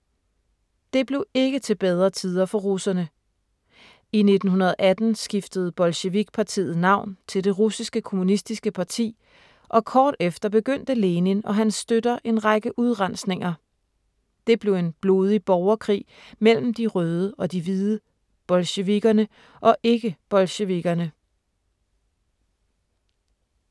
Det blev ikke til bedre tider for russerne. I 1918 skiftede Bolsjevik-partiet navn til Det Russiske Kommunistiske Parti, og kort efter begyndte Lenin og hans støtter en række udrensninger. Det blev en blodig borgerkrig mellem de røde og de hvide, bolsjevikkerne og ikke-bolsjevikkerne.